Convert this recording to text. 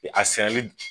A sɛnɛli